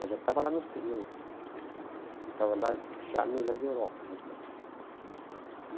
Mas já estava lá no no... Estava lá já no Jardim Europa, o Germânia. Uhum.